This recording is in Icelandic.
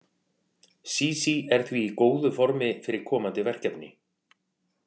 Sísí er því í góðu formi fyrir komandi verkefni.